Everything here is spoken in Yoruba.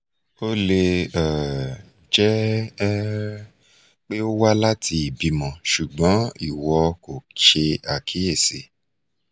o le um jẹ um pe o wa lati ibimọ ṣugbọn iwọ ko ṣe akiyesi